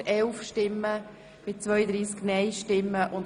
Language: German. Der Grosse Rat beschliesst: Annahme Antrag Regierungsrat